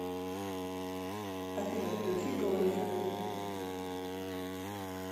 афина включи гоэйша